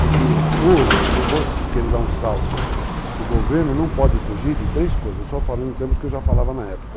Porque hoje, não vou querer dar um salto, o governo não pode fugir de três coisas, só falando em termos que eu já falava na época.